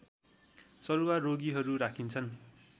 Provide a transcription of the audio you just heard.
सरुवा रोगीहरू राखिन्छन्